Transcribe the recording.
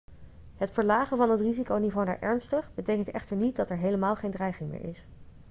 het verlagen van het risiconiveau naar ernstig betekent echter niet dat er helemaal geen dreiging meer is.'